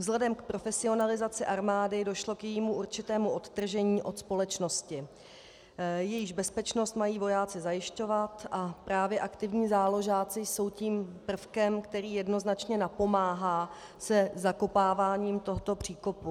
Vzhledem k profesionalizaci armády došlo k jejímu určitému odtržení od společnosti, jejíž bezpečnost mají vojáci zajišťovat, a právě aktivní záložáci jsou tím prvkem, který jednoznačně napomáhá se zakopáváním tohoto příkopu.